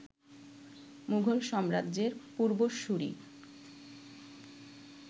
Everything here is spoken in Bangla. মুঘল সাম্রাজ্যের পূর্বসূরি